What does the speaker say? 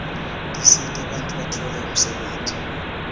tisita bantfu batfole umsebenti